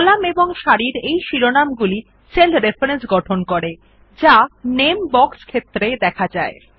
column এবং সারির এই শিরোনাম গুলি সেল রেফারেন্স গঠন করে যা নামে বক্স ক্ষেত্রে দেখা যায়